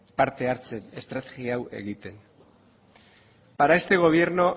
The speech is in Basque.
parte hartzen estrategia hau egiten para este gobierno